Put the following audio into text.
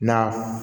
Na